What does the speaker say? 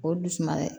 O dusuman ye